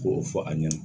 K'o fɔ a ɲɛna